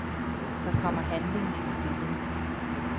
Så kommer handlingen ind i billedet.